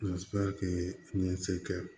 kɛ